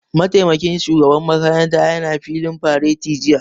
Mataimakin shugaban makaranta ya na filin fareti jiya